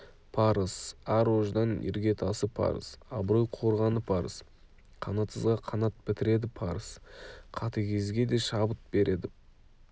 парыз ар-ождан іргетасы парыз абырой қорғаны парыз қанатсызға қанат бітіреді парыз қатыгезге де шабыт береді парыз